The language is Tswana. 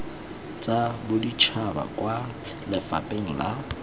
tsa boditšhaba kwa lefapheng la